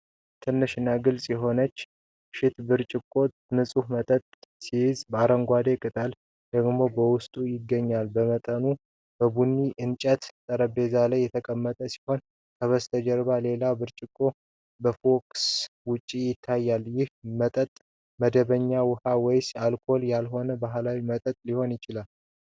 ትልቅ እና ግልጽ የሆነ ሹት ብርጭቆ ንጹህ መጠጥ ሲይዝ፣ አረንጓዴ ቅጠላቅጠል ደግሞ በውስጡ ይገኛል። መጠጡ በቡኒ የእንጨት ጠረጴዛ ላይ የተቀመጠ ሲሆን፣ ከበስተጀርባ ሌላ ብርጭቆ በፎከስ ውጪ ይታያል። ይህ መጠጥ መደበኛ ውሃ ወይስ አልኮሆል ያልሆነ ባህላዊ መጠጥ ሊሆን ይችላል?